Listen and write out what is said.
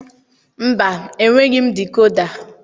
Mba, enweghị m dikoda.